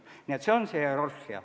Nii et see on hierarhia.